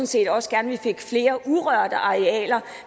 set også gerne at vi fik flere urørte arealer